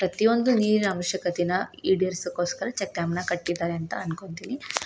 ಪ್ರತಿಯೊಂದು ನೀರಿನ ಅವಶ್ಯಕತೆನ ಈಡೇರಿಸಕೋಸ್ಕರ ಚಟ್ಟಂನ ಕಟ್ಟಿದ್ದಾರೆ ಅನ್ನಕೋತಿನಿ.